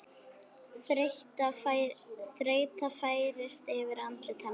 Þreyta færist yfir andlit hans.